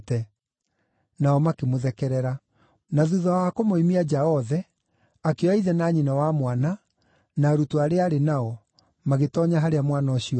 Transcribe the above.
Nao makĩmũthekerera. Na thuutha wa kũmoimia nja othe, akĩoya ithe na nyina wa mwana na arutwo arĩa aarĩ nao magĩtoonya harĩa mwana ũcio aarĩ.